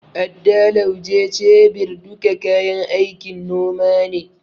Adda, Lauje, shebir duka kayan aikin noma ne.